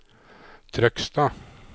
Trøgstad